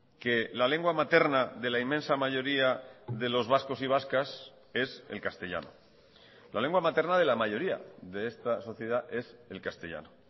que la lengua materna de la inmensa mayoría de los vascos y vascas es el castellano la lengua materna de la mayoría de esta sociedad es el castellano